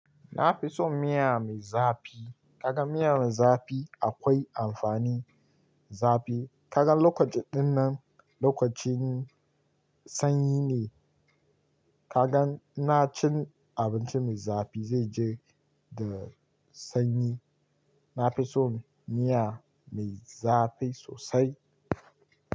Na fi son miya mai zafi. Kaga miya mai zafi akwai amfani. Zafi kaga lokaci dinnan, lokacin sanyi ne. Kaga ina cin abinci mai zafi zai ji da sanyi. Na fi so miya mai zafi sosai.